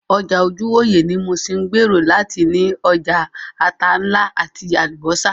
Ọjà ojúwòyẹ̀ ní Muṣin ń gbèrò láti ní ọjà ata ńlá àti Àlùbọ́sà